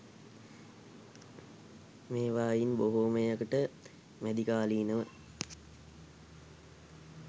මේවායින් බොහෝමයකට මැදිකාලීනව